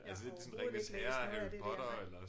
Jeg har overhovedet ikke læst noget af det der nej